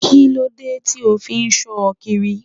Kíló dé tí o fí ṣọ kiri?